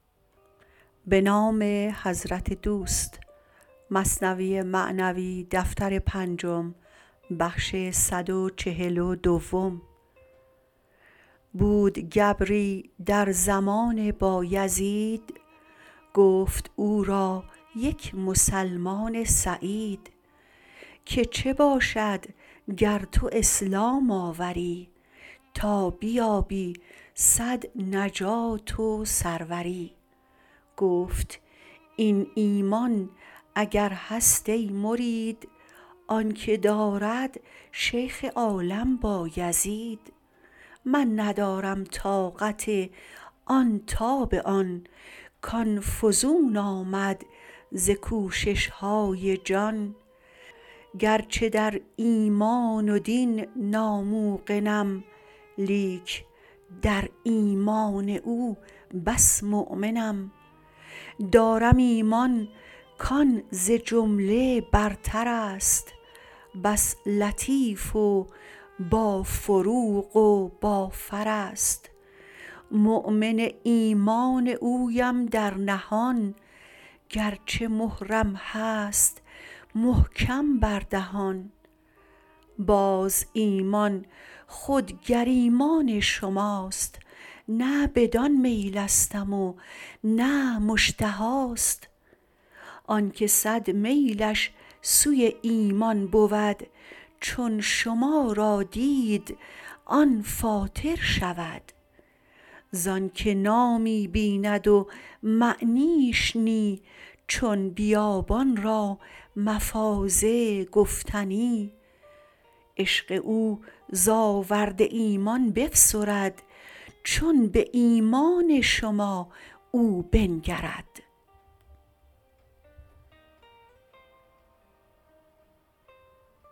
بود گبری در زمان بایزید گفت او را یک مسلمان سعید که چه باشد گر تو اسلام آوری تا بیابی صد نجات و سروری گفت این ایمان اگر هست ای مرید آنک دارد شیخ عالم بایزید من ندارم طاقت آن تاب آن که آن فزون آمد ز کوششهای جان گرچه در ایمان و دین ناموقنم لیک در ایمان او بس مؤمنم دارم ایمان که آن ز جمله برترست بس لطیف و با فروغ و با فرست مؤمن ایمان اویم در نهان گرچه مهرم هست محکم بر دهان باز ایمان خود گر ایمان شماست نه بدان میلستم و نه مشتهاست آنک صد میلش سوی ایمان بود چون شما را دید آن فاتر شود زانک نامی بیند و معنیش نی چون بیابان را مفازه گفتنی عشق او ز آورد ایمان بفسرد چون به ایمان شما او بنگرد